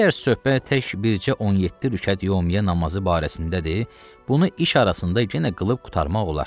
Əgər söhbət tək bircə 17 rükət yömüyyə namazı barəsindədir, bunu iş arasında genə qılıb qurtarmaq olar.